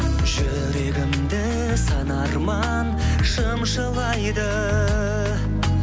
жүрегімді сан арман шымшылайды